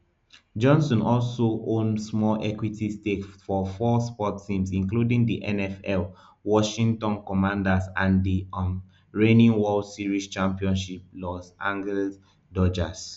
johnson also own small equity stakes for four sports teams including the nfl washington commanders and di um reigning world series champion los angeles dodgers